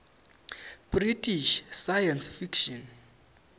british science fiction